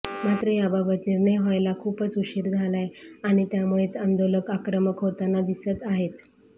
मात्र याबाबत निर्णय व्हायला खूपच उशीर झालय आणि त्यामुळेच आंदोलक आक्रमक होताना दिसत आहेत